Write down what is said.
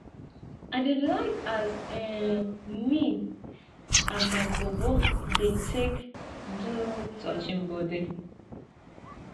i dey like as um me and my bobo dey take do touching bodi